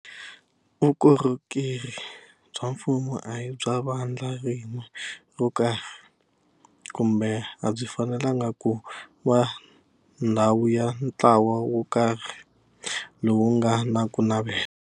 Vukorhokeri bya mfumo a hi bya vandla rin'we ro karhi, kumbe a byi fanelangi ku va ndhawu ya ntlawa wo karhi lowu nga na ku navela.